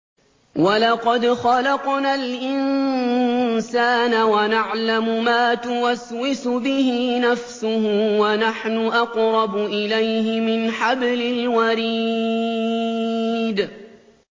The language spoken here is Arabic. وَلَقَدْ خَلَقْنَا الْإِنسَانَ وَنَعْلَمُ مَا تُوَسْوِسُ بِهِ نَفْسُهُ ۖ وَنَحْنُ أَقْرَبُ إِلَيْهِ مِنْ حَبْلِ الْوَرِيدِ